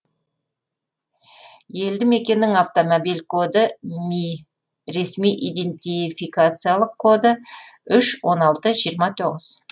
елді мекеннің автомобиль коды мі ресми идентификациялық коды үш он алты жиырма тоғыз